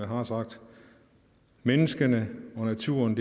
har sagt menneskene og naturen